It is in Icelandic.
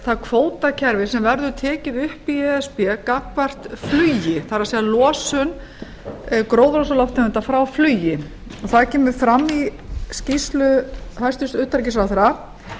það kvótakerfi sem verður tekið upp í e s b gagnvart flugi það er legu gróðurhúsalofttegunda frá flugi það kemur fram í skýrslu hæstvirts utanríkisráðherra